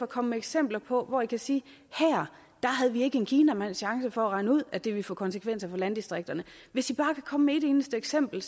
komme med eksempler på forslag hvor i kan sige her havde vi ikke en kinamands chance for at regne ud at det ville få konsekvenser for landdistrikterne hvis i bare kunne komme med et eneste eksempel